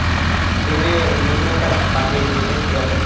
game এ নতুন একটা bundle দিয়েছে পুরাতন।